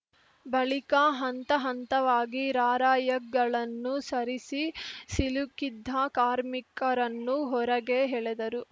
ಬಳಿಕ ಹಂತ ಹಂತವಾಗಿ ರಾರ‍ಯಕ್‌ಗಳನ್ನು ಸರಿಸಿ ಸಿಲುಕಿದ್ದ ಕಾರ್ಮಿಕರನ್ನು ಹೊರಗೆ ಹೆಳೆದರು